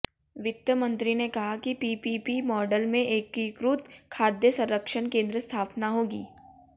वित्त मंत्री ने कहा कि पीपीपी मॉडल में एकीकृत खाद्य संरक्षण केंद्र स्थापना होगी